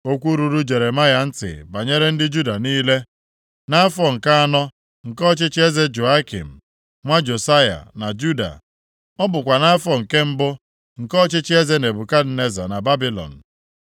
Okwu ruru Jeremaya ntị banyere ndị Juda niile, nʼafọ nke anọ nke ọchịchị eze Jehoiakim, nwa Josaya na Juda. Ọ bụkwa nʼafọ nke mbụ nke ọchịchị eze Nebukadneza na Babilọn.